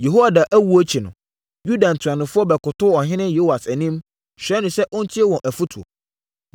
Yehoiada owuo akyi no, Yuda ntuanofoɔ bɛkotoo ɔhene Yoas anim, srɛɛ no sɛ ɔntie wɔn afotuo.